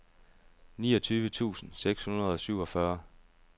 niogtyve tusind seks hundrede og syvogfyrre